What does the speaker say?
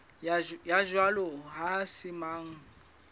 ya jwalo ha se mang